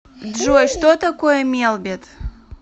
джой что такое мелбет